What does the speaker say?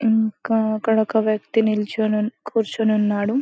ఇంకా అక్కడొక వ్యక్తి నిల్చొని కూర్చొని ఉన్నాడు .